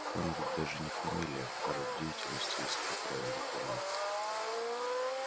хан ведь даже не фамилия а род деятельности если я правильно помню